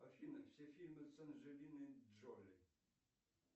афина все фильмы с анджелиной джоли